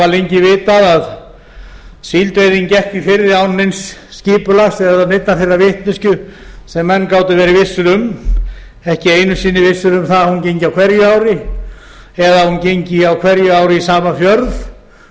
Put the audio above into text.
lengi vitað að síldveiðin gekk í firði án neins skipulags eða neinnar þeirrar vitneskju sem menn gátu verið vissir um ekki einu sinni vissir um það að hún gengi á hverju ári eða að hún gengi á hverju ári í sama fjörð